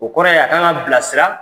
O kɔrɔ ye a ka kan ka bilasira.